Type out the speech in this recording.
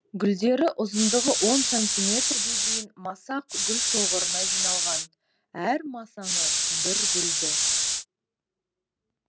гүлдері ұзындығы он сантиметр ге дейін масақ гүлшоғырына жиналған әр масаңы бір гүлді